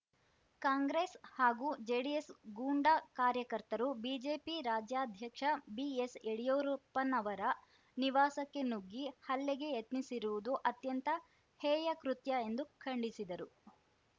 ಕಾಂಗ್ರೆಸ್‌ ಹಾಗೂ ಜೆಡಿಎಸ್‌ ಗೂಂಡ ಕಾರ್ಯಕರ್ತರು ಬಿಜೆಪಿ ರಾಜ್ಯಾಧ್ಯಕ್ಷ ಬಿಎಸ್‌ಯಡಿಯೂರುಪ್ಪನವರ ನಿವಾಸಕ್ಕೆ ನುಗ್ಗಿ ಹಲ್ಲೆಗೆ ಯತ್ನಿಸಿರುವುದು ಅತ್ಯಂತ ಹೇಯ ಕೃತ್ಯ ಎಂದು ಖಂಡಿಸಿದರು